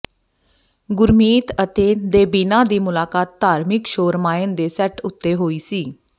ਗੁਰਮੀਤ ਅਤੇ ਦੇਬੀਨਾ ਦੀ ਮੁਲਾਕਾਤ ਧਾਰਮਿਕ ਸ਼ੋਅ ਰਾਮਾਇਣ ਦੇ ਸੈੱਟ ਉੱਤੇ ਹੋਈ ਸੀ